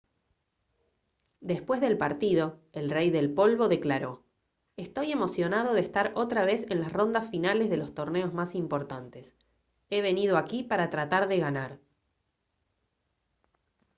después del partido el rey del polvo declaró: «estoy emocionado de estar otra vez en las rondas finales de los torneos más importantes. he venido aquí para tratar de ganar»